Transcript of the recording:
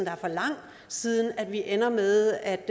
er for lang siden vi ender med at